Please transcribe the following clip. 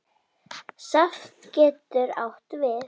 Safn getur átt við